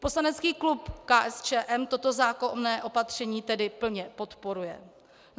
Poslanecký klub KSČM toto zákonné opatření tedy plně podporuje.